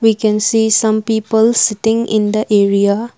we can see some people sitting in the area.